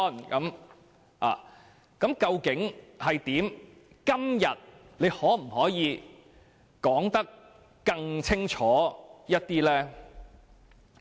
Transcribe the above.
局長今天可否說得更清楚一點嗎？